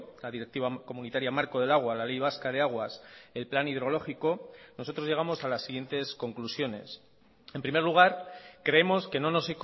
la directiva comunitaria marco del agua la ley vasca de aguas el plan hidrológico nosotros llegamos a las siguientes conclusiones en primer lugar creemos que no nos